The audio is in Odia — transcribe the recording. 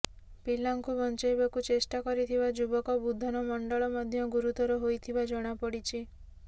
ପିଲାଙ୍କୁ ବଞ୍ଚାଇବାକୁ ଚେଷ୍ଟା କରିଥିବା ଯୁବକ ବୁଧନ ମଣ୍ଡଳ ମଧ୍ୟ ଗୁରୁତର ହୋଇଥିବା ଜଣାପଡ଼ିଛି